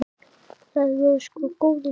Það voru sko góðir tímar.